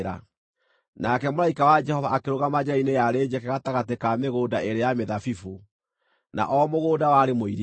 Nake mũraika wa Jehova akĩrũgama njĩra-inĩ yarĩ njeke gatagatĩ ka mĩgũnda ĩĩrĩ ya mĩthabibũ, na o mũgũnda warĩ mũirige.